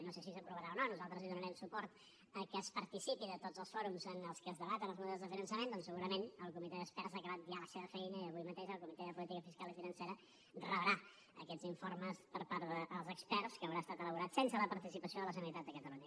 no sé si s’aprovarà o no nosaltres hi donarem suport a que es participi de tots els fòrums en els que es debaten els models de finançament doncs segurament el comitè d’experts ha acabat ja la seva feina i avui mateix el comitè de política fiscal i financera rebrà aquests informes per part dels experts que hauran estat elaborats sense la participació de la generalitat de catalunya